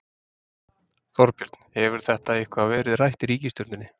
Þorbjörn: Hefur þetta eitthvað verið rætt í ríkisstjórninni?